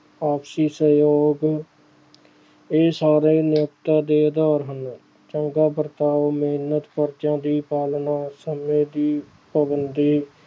ਆਪਸੀ ਸਹਿਯੋਗ ਇਹ ਸਾਰੇ ਮਨੁੱਖਤਾ ਦੇ ਆਧਾਰ ਹਨ, ਚੰਗਾ ਵਰਤਾਓ, ਮਿਹਨਤ, ਫ਼ਰਜ਼ਾ ਦੀ ਪਾਲਣਾ ਸਮੇਂ ਦੀ ਪਾਬੰਦੀ